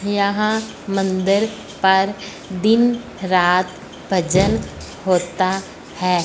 यहां मंदिर पर दिन रात भजन होता है।